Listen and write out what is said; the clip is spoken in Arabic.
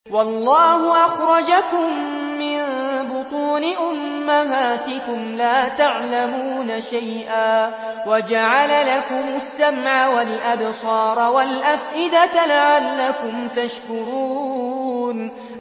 وَاللَّهُ أَخْرَجَكُم مِّن بُطُونِ أُمَّهَاتِكُمْ لَا تَعْلَمُونَ شَيْئًا وَجَعَلَ لَكُمُ السَّمْعَ وَالْأَبْصَارَ وَالْأَفْئِدَةَ ۙ لَعَلَّكُمْ تَشْكُرُونَ